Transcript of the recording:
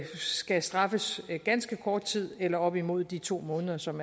skal straffes i ganske kort tid eller op imod de to måneder som